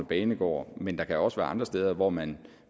banegårde men der kan også være andre steder hvor man